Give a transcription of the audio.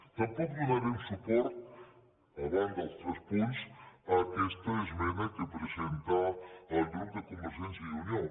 tampoc donarem suport a banda dels tres punts a aquesta esmena que presenta el grup de convergència i unió